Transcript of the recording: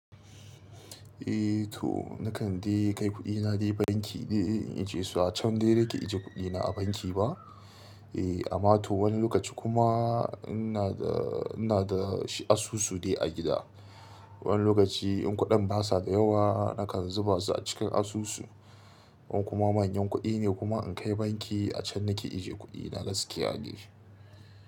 Eh to nakan dai kai kuɗina dai banki dai in ije su a can dai nake ajiye kuɗina a banki ba. Eh amma to wani lokaci kuma ina da, ina da asusu dai a gida. Wani lokaci in kuɗin basa da yawa nakan zuba su a cikin asusu. Wan kuma manyan kuɗi ne kuma in kai banki a can nake ajiye kuɗina gaskiya de.